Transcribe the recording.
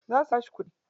Za su bashi kuɗi.